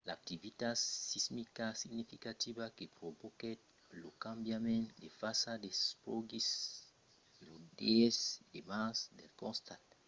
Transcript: l'activitat sismica significativa que provoquèt lo cambiament de fasa se produsiguèt lo 10 de març del costat nòrd-èst de la caldera de la cima del volcan